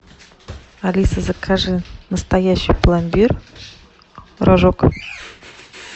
алиса закажи настоящий пломбир рожок